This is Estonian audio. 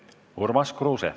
Urmas Kruuse.